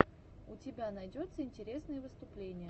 у тебя найдется интересные выступления